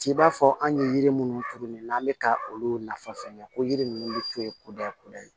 T'i b'a fɔ an ye yiri minnu turu nin n'an bɛ ka olu nafa fɛn kɛ ko yiri ninnu bɛ to yen kuda kudayi